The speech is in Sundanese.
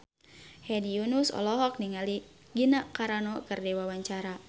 Hedi Yunus olohok ningali Gina Carano keur diwawancara